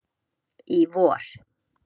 í vor.